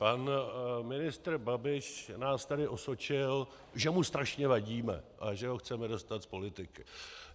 Pan ministr Babiš nás tady osočil, že mu strašně vadíme a že ho chceme dostat z politiky.